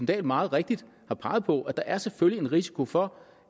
dahl har meget rigtigt peget på at der selvfølgelig er en risiko for